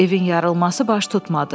Evin yarılması baş tutmadı.